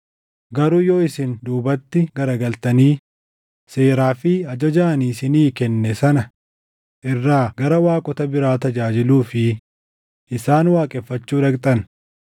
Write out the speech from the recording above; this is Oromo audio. “Garuu yoo isin duubatti garagaltanii seeraa fi ajaja ani isinii kenne sana irraa gara waaqota biraa tajaajiluu fi isaan waaqeffachuu dhaqxan,